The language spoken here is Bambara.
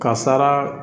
Kasara